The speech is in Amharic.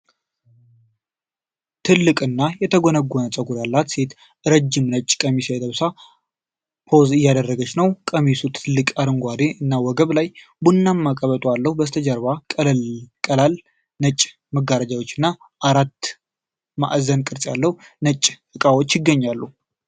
ትልቅ እና የተጎነጎነ ፀጉር ያላት ሴት ረዥም ነጭ ቀሚስ ለብሳ ፖዝ እያደረገች ነው። ቀሚሱ ትላልቅ እጅጌዎች እና ወገብ ላይ ቡናማ ቀበቶ አለው፤ በስተጀርባው ቀላል ነጭ መጋረጃዎች እና አራት ማዕዘን ቅርፅ ያላቸው ነጭ እቃዎች ይገኛሉ።